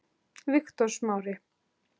Viktor Smári.